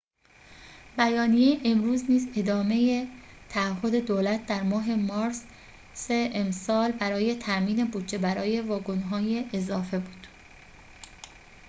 بیانیه امروز نیز ادامه تعهد دولت در ماه مارس امسال برای تأمین بودجه برای واگن‌های اضافه بود